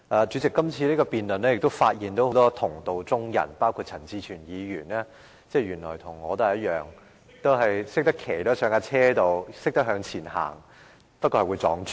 在今次的辯論中，我發現了很多同道中人，包括陳志全議員，原來他和我一樣，只懂騎上單車向前走，而我還會撞柱。